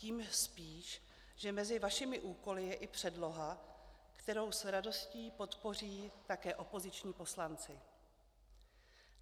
Tím spíš, že mezi vašimi úkoly je i předloha, kterou s radostí podpoří také opoziční poslanci.